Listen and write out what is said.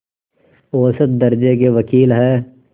औसत दर्ज़े के वक़ील हैं